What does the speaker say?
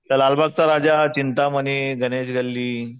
त्या लालबागचा राजा, चिंतामणी, गणेश गल्ली